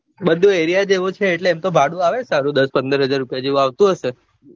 બધું area જ એવો છે એટલે એમ તો ભાડું આવે સારું દસ પંદર હાજર રૂપિયા જેવું આવતું હશે